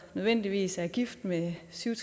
nødvendigvis er gift med syv